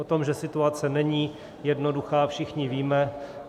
O tom, že situace není jednoduchá, všichni víme.